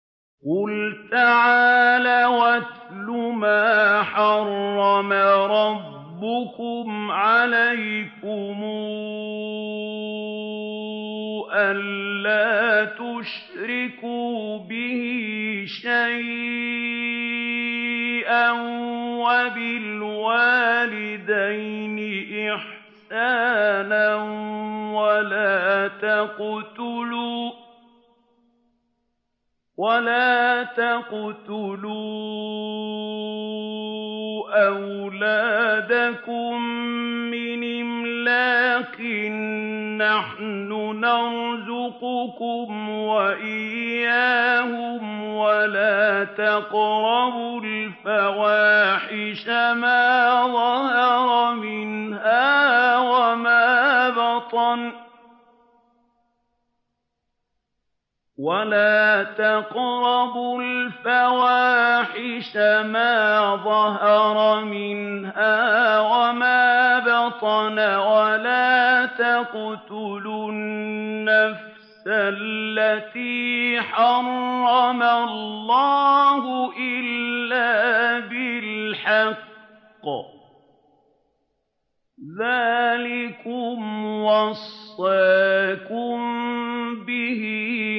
۞ قُلْ تَعَالَوْا أَتْلُ مَا حَرَّمَ رَبُّكُمْ عَلَيْكُمْ ۖ أَلَّا تُشْرِكُوا بِهِ شَيْئًا ۖ وَبِالْوَالِدَيْنِ إِحْسَانًا ۖ وَلَا تَقْتُلُوا أَوْلَادَكُم مِّنْ إِمْلَاقٍ ۖ نَّحْنُ نَرْزُقُكُمْ وَإِيَّاهُمْ ۖ وَلَا تَقْرَبُوا الْفَوَاحِشَ مَا ظَهَرَ مِنْهَا وَمَا بَطَنَ ۖ وَلَا تَقْتُلُوا النَّفْسَ الَّتِي حَرَّمَ اللَّهُ إِلَّا بِالْحَقِّ ۚ ذَٰلِكُمْ وَصَّاكُم بِهِ